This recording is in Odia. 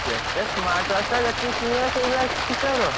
କେତେ smart watch ଟା ଯେତିକି କିଣିବା ସେଇଭଳିଆ, କର।